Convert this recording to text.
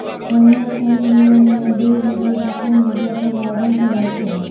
હાલમાં જ સની લિયોનીના બે વિડીયો સોશિયલ મીડિયા પર વાઇરલ થયા છે